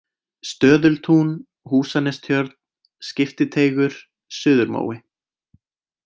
Stöðultún, Húsanestjörn, Skiptiteigur, Suðurmói